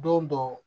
Don dɔ